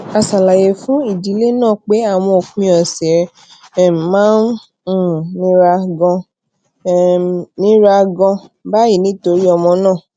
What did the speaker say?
a ṣàlàyé fún ìdílé náà pé àwọn òpin òsè um máa ń um nira ganan um nira ganan báyìí nítorí ọmọ náà